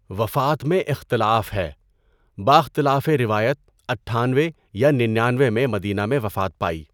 وفات میں اختلاف ہے۔ باختلافِ روایت اٹھانوے یا ننانوے میں مدینہ میں وفات پائی۔